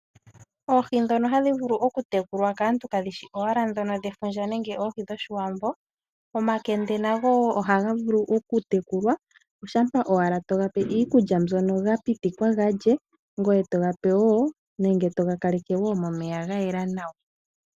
Oohi ndhono hadhi vulu okutekulwa kaantu kadhi shi owala ndhono dhefundja nenge oohi dhOshiwambo, Omakende nago ohaga vulu okutekulwa oshampa owala to ga pe iikulya mbyono ga pitikwa ga lye ngoye to ga kaleke wo momeya ga yela nawa.